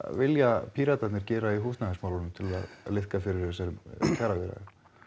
vilja Píratarnir gera í húsnæðismálunum til að liðka fyrir þessum kjaraviðræðum